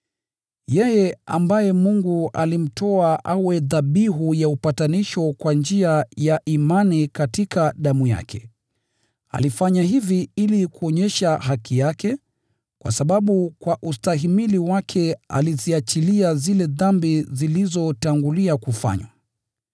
Yeye ambaye Mungu alimtoa awe dhabihu ya upatanisho kwa njia ya imani katika damu yake. Alifanya hivi ili kuonyesha haki yake, kwa sababu kwa ustahimili wake aliziachilia zile dhambi zilizotangulia kufanywa.